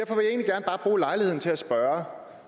altså